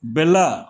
Bɛla